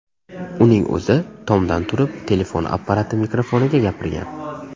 Uning o‘zi tomdan turib telefon apparati mikrofoniga gapirgan.